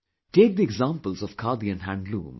Take the examples of Khadi and handloom